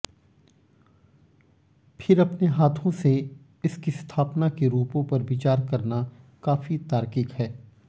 फिर अपने हाथों से इसकी स्थापना के रूपों पर विचार करना काफी तार्किक है